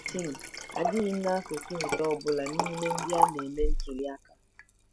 Tim: Adịghị m n'akụkụ nke ọ bụla n'ime ndị a na-eme ntuli aka.